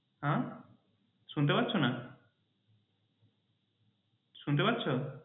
হ্যাঁ শুনতে পাচ্ছ না? শুনতে পাচ্ছ?